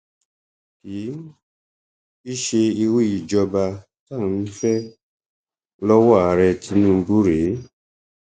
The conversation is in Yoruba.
kì um í ṣe irú ìṣèjọba tá à ń fẹ um lọwọ ààrẹ tinubu rèé